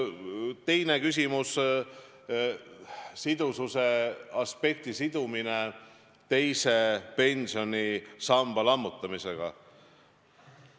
Teine küsimus on sidususe aspekti sidumise kohta teise pensionisamba lammutamisega.